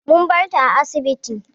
Mun bar ta a asibiti.